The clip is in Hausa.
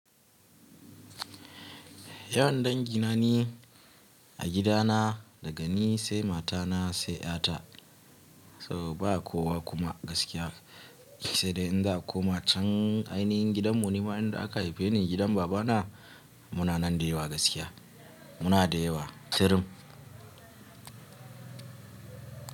Yawan dangina ni a gidana daga ni, sai matana, sai 'ƴata. Saboda ba kowa kuma gaskiya sai dai in za'a koma cen ainihin gidan mu, nima inda aka haife ni gidan babana. Muna nan da yawa gaskiya. Muna da yawa, tirim.